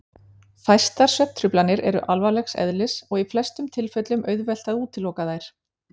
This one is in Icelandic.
Fæstar svefntruflanir eru alvarlegs eðlis og í flestum tilfellum auðvelt að útiloka þær.